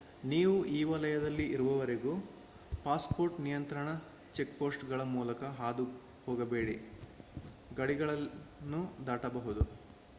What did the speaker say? ನೀವು ಈ ವಲಯದಲ್ಲಿ ಇರುವವರೆಗೂ ಪಾಸ್‌ಪೋರ್ಟ್ ನಿಯಂತ್ರಣ ಚೆಕ್‌ಪೋಸ್ಟ್‌ಗಳ ಮೂಲಕ ಹಾದುಹೋಗದೆ ಗಡಿಗಳನ್ನು ದಾಟಬಹುದು